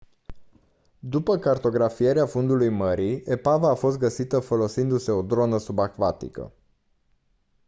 după cartografierea fundului mării epava a fost găsită folosindu-se o dronă subacvatică